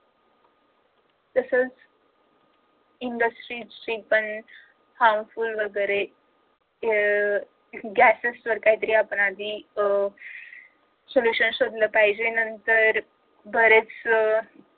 तसच industry harmful वैगेरे अह gases तर कायपण आपण आता याआधी अह sollution शोधलं पाहिजे नंतर बरेच अह